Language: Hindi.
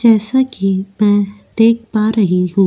जैसा कि मैं देख पा रही हूं।